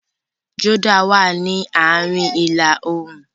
Jordan wá ní àárín ila-oorun.